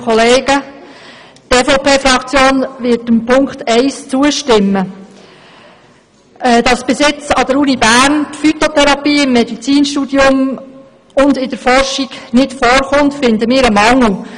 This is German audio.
Dass bisher an der Universität Bern die Phytotherapie im Medizinstudium und in der Forschung nicht vorkommt, erachten wir als Mangel.